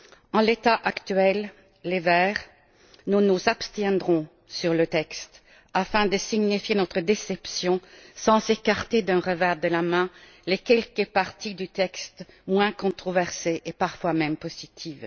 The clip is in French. En l'état actuel nous, les Verts, nous abstiendrons sur le texte afin de signifier notre déception, sans écarter d'un revers de la main les quelques parties du texte moins controversées et parfois même positives.